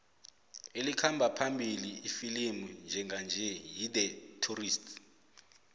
elikhamba phambili ifilimu njenganje yi the tourist